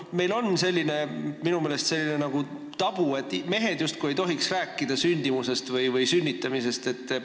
Meil on minu meelest selline tabu, et mehed justkui ei tohiks rääkida sündimusest või sünnitamisest.